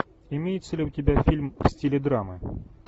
имеется ли у тебя фильм в стиле драмы